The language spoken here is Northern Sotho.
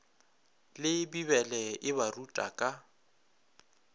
le bibele e baruta ka